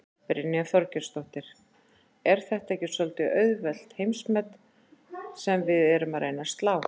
Brynja Þorgeirsdóttir: Er þetta ekki svolítið auðveld heimsmet sem við erum að reyna að slá?